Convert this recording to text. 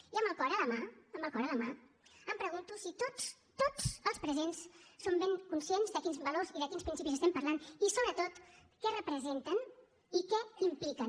i amb el cor a la mà amb el cor a la mà em pregunto si tots tots els presents som ben conscients de quins valors i de quins principis estem parlant i sobretot què representen i què impliquen